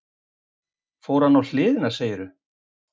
Fór hann á hliðina, segirðu?